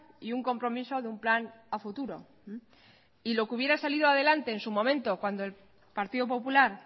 y un compromiso de un plan a futuro y lo que hubiera salido adelante en su momento cuando el partido popular